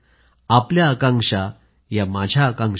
आपल्या आकांक्षा या माझ्या आकांक्षा आहेत